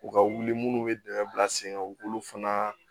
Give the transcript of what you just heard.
U ka wuli munnu bɛ dɛmɛ bila sen kan u b'olu fana